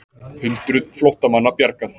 Hundruð flóttamanna bjargað